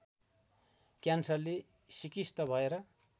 क्यान्सरले सिकिस्त भएर